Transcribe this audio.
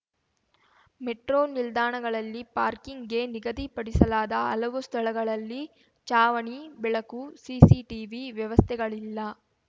metro ನಿಲ್ದಾಣಗಳಲ್ಲಿ ಪಾರ್ಕಿಂಗ್‌ಗೆ ನಿಗದಿ ಪಡಿಸಲಾದ ಹಲವು ಸ್ಥಳಗಳಲ್ಲಿ ಚಾವಣಿ ಬೆಳಕು ಸಿಸಿಟಿವಿ ವ್ಯವಸ್ಥೆಗಳಿಲ್ಲ